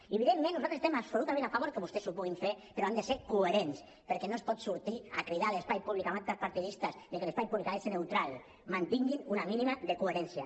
i evidentment nosaltres estem absolutament a favor que vostès ho puguin fer però han de ser coherents perquè no es pot sortir a cridar a l’espai públic amb actes partidistes que l’espai públic ha de ser neutral mantinguin un mínim de coherència